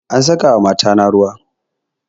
An saka wa matata ruwa